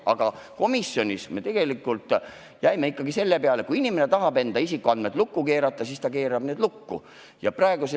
Aga komisjonis me jäime tegelikult ikkagi selle juurde, et kui inimene tahab oma isikuandmed lukku keerata, siis ta saab need lukku keerata.